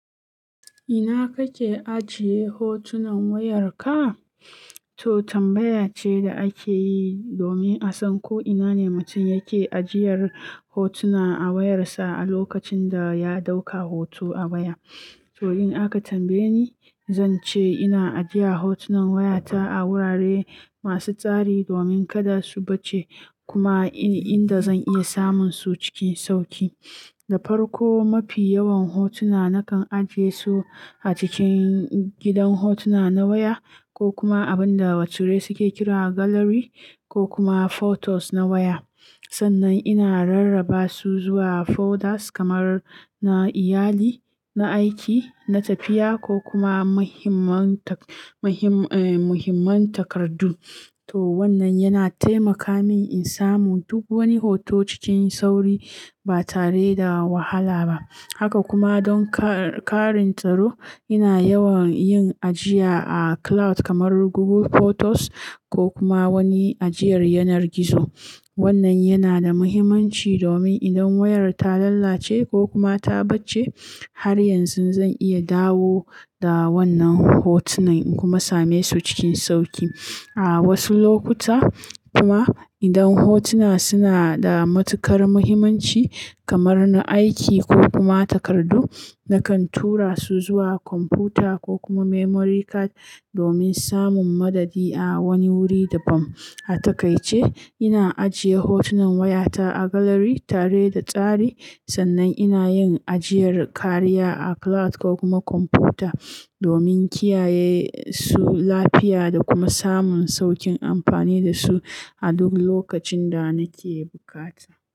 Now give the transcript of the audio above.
Ina kake ajiye hotunan wayarka? To tambaya ce da ake yi domin a san ko ina ne mutum yake ajiyar hotuna a wayarsa a lokacin da ya ɗauka hoto a baya. To in aka tambaye ni, zan ce ina ajiya hotunan wayata a wurare masu tsari domin kada su bacce kuma inda zan iya samun su cikin sauƙi. Da farko, mafi yawan hotuna nakan ajiye su a cikin gidan hotuna na waya ko kuma abin da wasu suke kira gallery ko kuma photos na waya. Sannan ina rarraba su zuwa folders kamar na iyali, na aiki, na tafiya ko kuma muhimman takardu. To wannan yana taimaka min in samu duk wani hoto cikin sauri ba tare da wahala ba. Haka kuma don ƙarin tsaro, ina yawan yin ajiya a cloud kamar Google Photos ko kuma wani ajiyar yanar gizo. Wannan yana da muhimmanci domin idan wayar ta lalace ko kuma ta bacce, har yanzu zan iya dawo da wannan hotunan kuma same su cikin sauƙi. A wasu lokuta kuma idan hotuna suna da matukar muhimmanci kamar na aiki ko kuma takardu, nakan tura su zuwa kwamfuta ko kuma memory card domin samun madadi a wani wuri da bam a takaice. Ina ajiye hotunan wayata a gallery tare da tsari sannan ina yin ajiyar kariya a cloud ko kuma kwamfuta domin kiyaye su lafiya da kuma samun sauƙin amfani da su a duk lokacin da nake bukata.